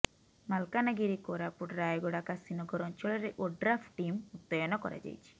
ମାଲକାନଗିରି କୋରାପୁଟ ରାୟଗଡ଼ା କାଶୀନଗର ଅଞ୍ଚଳରେ ଓଡ୍ରାଫ୍ ଟିମ୍ ମୁତୟନ କରାଯାଇଛି